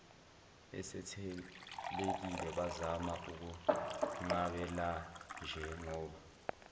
esethelekile bazama ukumnqabelanjengoba